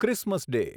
Christmas day